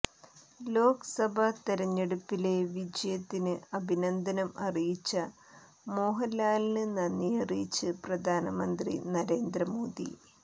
ലോക്സഭാ തെരഞ്ഞെടുപ്പിലെ വിജയത്തിന് അഭിനന്ദനം അറിയിച്ച മോഹന്ലാലിന് നന്ദിയറിയിച്ച് പ്രധാനമന്ത്രി നരേന്ദ്ര മോദി